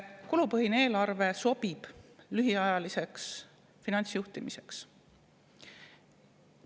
Kulupõhine eelarve sobib lühiajaliseks finantsjuhtimiseks.